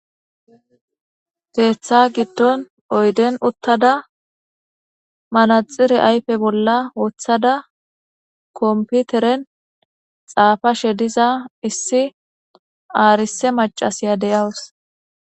Teeththa giddon oyden uttada manaxire ayfe bolla woththada komputeren xaafashe diza issi aarise macasiya deyawus.